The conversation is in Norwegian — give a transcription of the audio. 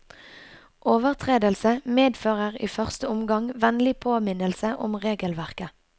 Overtredelse medfører i første omgang vennlig påminnelse om regelverket.